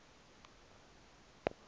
enge kho elele